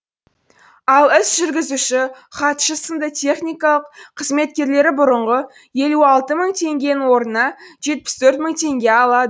ал іс жүргізуші хатшы сынды техникалық қызметкерлері бұрынғы елу алты мың теңгенің орнына жетпіс төрт мың теңге алады